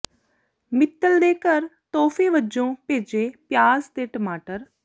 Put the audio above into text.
ਮਿੱਤਲ ਦੇ ਘਰ ਤੋਹਫੇ ਵਜੋਂ ਭੇਜੇ ਪਿਆਜ਼ ਤੇ ਟਮਾਟਰ